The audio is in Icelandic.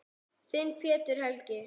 Þinn, Pétur Helgi.